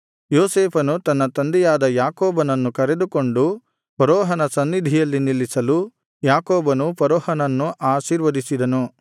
ಯೋಸೇಫನು ತನ್ನ ತಂದೆಯಾದ ಯಾಕೋಬನನ್ನು ಕರೆದುಕೊಂಡು ಫರೋಹನ ಸನ್ನಿಧಿಯಲ್ಲಿ ನಿಲ್ಲಿಸಲು ಯಾಕೋಬನು ಫರೋಹನನ್ನು ಆಶೀರ್ವದಿಸಿದನು